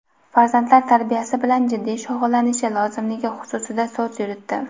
farzandlar tarbiyasi bilan jiddiy shug‘ullanishi lozimligi xususida so‘z yuritdi.